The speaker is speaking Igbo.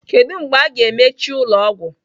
Kedu mgbe a ga-emechi ụlọ ọgwụ?